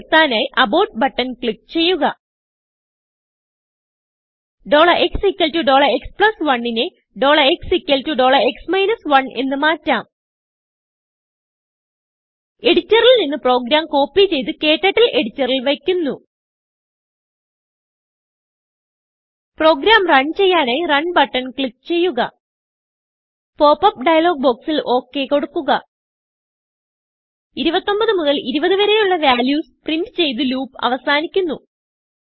ഇത് നിർത്താനായി abort button click ചെയ്യുക xx1 നെ xx 1എന്ന് മാറ്റാം എഡിറ്ററിൽ നിന്ന് പ്രോഗ്രാം കോപ്പി ചെയ്ത് ക്ടർട്ടിൽ എഡിറ്ററിൽ വയ്ക്കുന്നു പ്രോഗ്രാം റൺ ചെയ്യാനായി runബട്ടൺ ക്ലിക്ക് ചെയ്യുക pop upഡയലോഗ് ബോക്സിൽ okകൊടുക്കുക 29മുതൽ 20വരെയുള്ള വാല്യൂസ് പ്രിന്റ് ചെയ്ത് ലൂപ്പ് അവസാനിക്കുന്നു